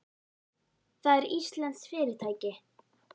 Það er íslenskt fyrirtæki.